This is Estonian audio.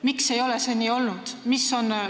Miks ei ole see nii olnud?